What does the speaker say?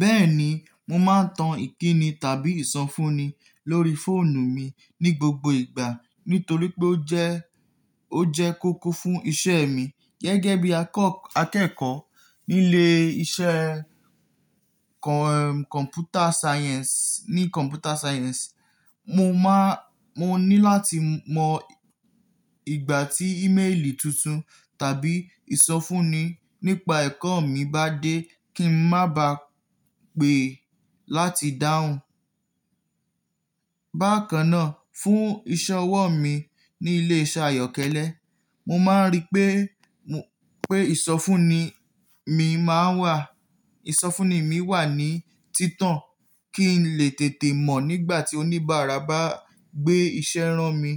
Bẹ́ẹ̀ni, mo máa ń tan ìkíni tàbí ìsọfúnni lórí fóònù mi ní gbogbo ìgbà, nítorí pé ó jẹ́, ó jẹ́ kóko fún isẹ́e mi. Gẹ́gẹ́ bí ako akẹ́kọ̀ọ́ nílé isẹ́ kọ̀, Computer Science, ní Computer Science, mo máa, mo ní láti mọ ìgbà tí ímélì tuntun tàbí ìsọfúnni nípa ẹ̀kọ́ mi bá dé kí n má ba à pè láti dáhùn. Bákan náà, fún ìṣọwọ́ mi ní ilé iṣẹ́ ayọ́kẹ́lẹ́, mo máa ń rí pé, mo pé ìsọfúnni mi máa wà, ìsọfúnni mi wà ní títàn kí n lè tètè mọ̀ nígbà tí oníbàárà bá gbé iṣẹ́ rán mi